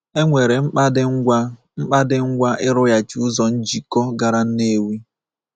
E nwere mkpa dị ngwa mkpa dị ngwa ịrụghachi ụzọ njikọ gara Nnewi.